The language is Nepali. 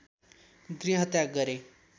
गृहत्याग गरे